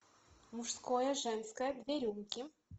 мужское женское две рюмки